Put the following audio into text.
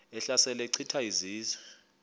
ehlasela echitha izizwe